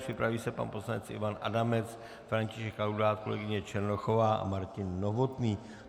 Připraví se pan poslanec Ivan Adamec, František Laudát, kolegyně Černochová a Martin Novotný.